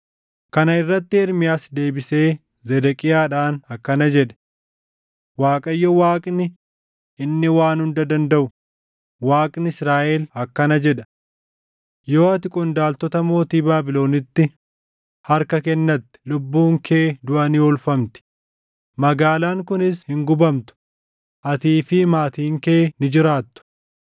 Kana irratti Ermiyaas deebisee Zedeqiyaadhaan akkana jedhe; “ Waaqayyo Waaqni, inni Waan Hunda Dandaʼu, Waaqni Israaʼel akkana jedha: ‘Yoo ati qondaaltota mootii Baabilonitti harka kennatte lubbuun kee duʼa ni oolfamti; magaalaan kunis hin gubamtu; atii fi maatiin kee ni jiraattu.